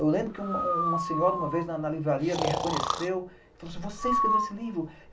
Eu lembro que uma senhora, uma vez, na livraria, me reconheceu e falou assim, ''você escreveu esse livro?''